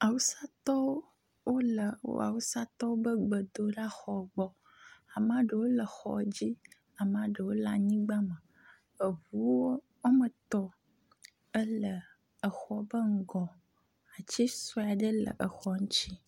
awusatɔwo wóle wó awusatɔwo be gbedolaxɔ gbɔ amaɖewo le xɔ dzí amaɖewo le anyigbã me eʋuwo wɔmetɔ̃ ele exɔ ƒe ŋgɔ atsi soeaɖe le exɔa ŋtsi